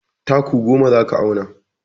Taku goma za ka auna.